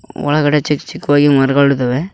ಒಳಗಡೆ ಚಿಕ್ ಚಿಕ್ ವಾಗಿ ಮರಗಳಿದಾವೆ.